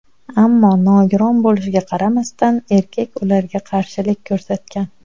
Ammo nogiron bo‘lishiga qaramasdan erkak ularga qarshilik ko‘rsatgan.